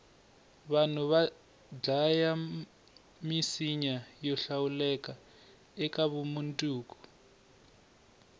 vanhu vadlaya misinya yohlawuleka ekavumundzuku